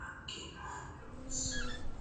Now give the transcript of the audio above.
aqqinni loonsoonite